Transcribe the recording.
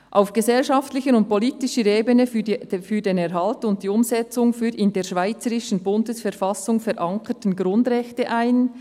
«…setzt sich auf gesellschaftlicher und politischer Ebene für die Erhaltung und die Umsetzung der in der Schweizerischen Bundesverfassung verankerten Grundrechte ein.